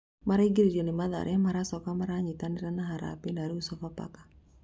Maraingĩririo nĩ Mathare maracoka maranyitanĩra na Harambee na rĩu Sofapaka.